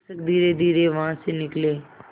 शिक्षक धीरेधीरे वहाँ से निकले